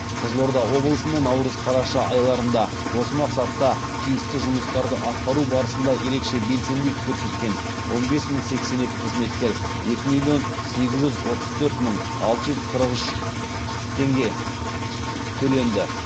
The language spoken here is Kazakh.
қызылорда облысына наурыз қараша айларында осы мақсатта тиісті жұмыстарды атқару барысында ерекше белсенділік көрсеткен он бес мың сексен екі қызметкер екі миллион сегіз жүз отыз төрт мың алты жүз қырық үш теңге төленді